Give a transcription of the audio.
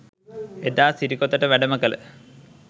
එදා සිරිකොතට වැඩම කළ